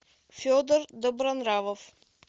федор добронравов